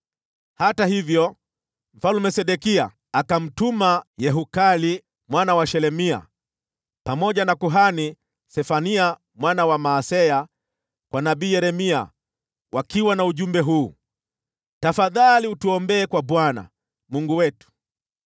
Hata hivyo, Mfalme Sedekia akamtuma Yehukali mwana wa Shelemia, pamoja na kuhani Sefania mwana wa Maaseya kwa nabii Yeremia na ujumbe huu: “Tafadhali utuombee kwa Bwana , Mungu wetu.”